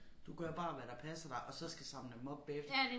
Du gør bare hvad der passer dig og så skal samle dem op bagefter